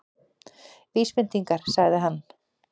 Vísbendingar- sagði hann.